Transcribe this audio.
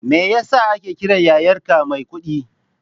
Me ya sa ake kiran yayarka Maikuɗi?